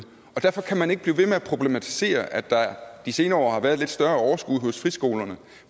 og derfor kan man ikke blive ved med at problematisere at der de senere år har været lidt større overskud hos friskolerne